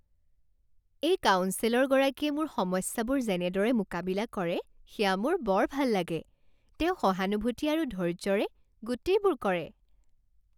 এই কাউন্সেলৰগৰাকীয়ে মোৰ সমস্যাবোৰ যেনেদৰে মোকাবিলা কৰে সেয়া মোৰ বৰ ভাল লাগে। তেওঁ সহানুভূতি আৰু ধৈৰ্য্যৰে গোটেইবোৰ কৰে।